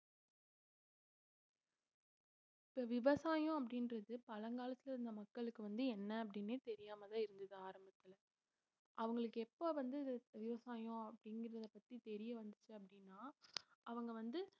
இப்ப விவசாயம் அப்படின்றது பழங்காலத்துல இருந்த மக்களுக்கு வந்து என்ன அப்படின்னே தெரியாமலே இருந்தது ஆரம்பத்துல அவங்களுக்கு எப்ப வந்து விவ~ விவசாயம் அப்படிங்கறது பத்தி தெரிய வந்துச்சு அப்படின்னா அவங்க வந்து